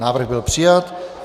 Návrh byl přijat.